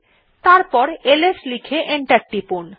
তারপর এলএস লিখে এন্টার টিপুন